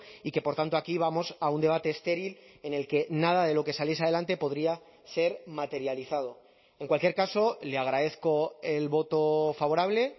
y que por tanto aquí vamos a un debate estéril en el que nada de lo que saliese adelante podría ser materializado en cualquier caso le agradezco el voto favorable